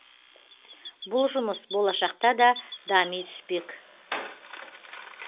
бұл жұмыс болашақта да дами түспек